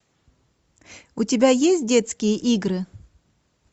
у тебя есть детские игры